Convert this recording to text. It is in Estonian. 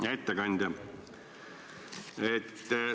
Hea ettekandja!